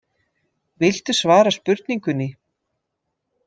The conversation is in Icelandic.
Viltu svara spurningunni?